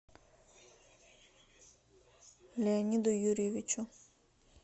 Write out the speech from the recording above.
леониду юрьевичу